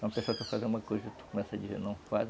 Uma pessoa quer fazer uma coisa e tu começa a dizer não faz.